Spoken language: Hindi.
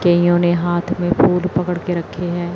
केहियो ने हाथ मे फूल पकड़ के रखे हैं।